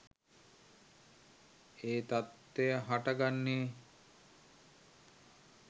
ඒ තත්ත්වය හට ගන්නේ.